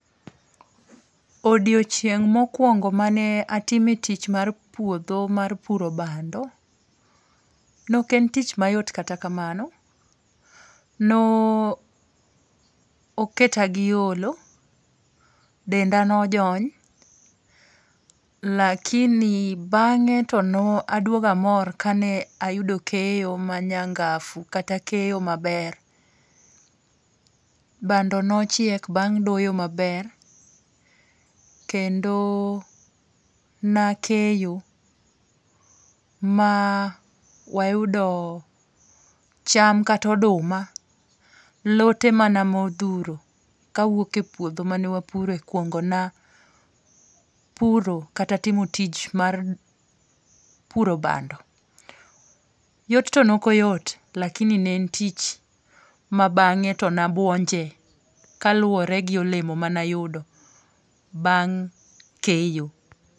Odiochieng mokuongo mane atime tich mar puotho mar puro bando, ne ok en tich mayot kata kamano, no oketa gi yolo, denda ne ojony, lakini bange' to ne aduogo amor kane ayudo keyo manyangafu kata keyo maber, bando ne achiek bang' doyo maber kendo nakeyo maa wayudoo cham kata oduma, lote mana mothuro kawuoke puotho manewapuoro kuonga na puro kata timo tich mar puro band, yot to ne okoyot lakini ne en tich ma bange to na buonje, kaluore gi olemo mane ayudo bang' keyo.